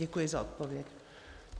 Děkuji za odpověď.